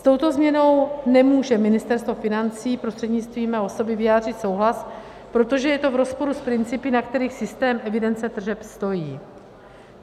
S touto změnou nemůže Ministerstvo financí prostřednictvím mé osoby vyjádřit souhlas, protože je to v rozporu s principy, na kterých systém evidence tržeb stojí.